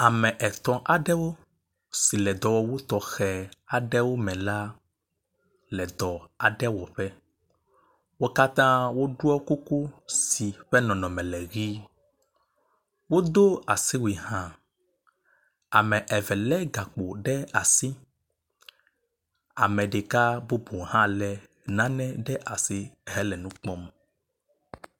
Ame etɔ̃ aɖewo si le dɔwɔwu tɔxe aɖe me la le dɔ aɖe wɔƒe. Wo katã woɖo kuku si ƒe nɔnɔme le ʋi. Wodo asiwui hã. Ame eve lé gakpo ɖe asi ame ɖeka bubu hã lé na ne ɖe asi hele nu kpɔm.